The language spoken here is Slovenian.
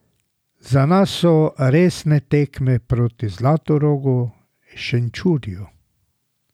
Za nas so resne tekme proti Zlatorogu, Šenčurju ...